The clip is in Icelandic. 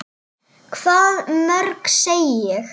Hvað mörg, segi ég.